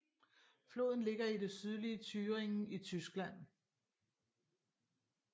Floden ligger i det sydlige Thüringen i Tyskland